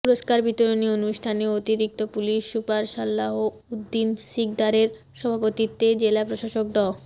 পুরস্কার বিতরনী অনুষ্ঠানে অতিরিক্ত পুলিশ সুপার সালাহ উদ্দিন শিকদারের সভাপতিত্বে জেলা প্রশাসক ড